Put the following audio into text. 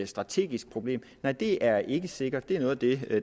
strategisk problem nej det er ikke sikkert det er noget af det